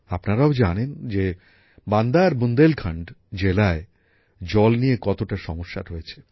আপনারাও জানেন যে বান্দা আর বুন্দেলখন্ড জেলায় জল নিয়ে কতটা সমস্যা রয়েছে